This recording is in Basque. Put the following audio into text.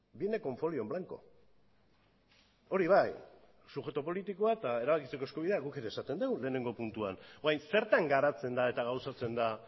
viene con folio en blanco hori bai subjektu politikoa eta erabakitzeko eskubidea guk ere esaten dugu lehenengo puntuan orain zertan garatzen da eta gauzatzen da